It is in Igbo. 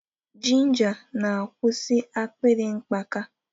Ginger na-akwụsị akpịrị mkpaka.